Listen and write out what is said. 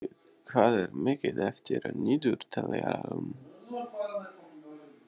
Svanhvít, hvað er mikið eftir af niðurteljaranum?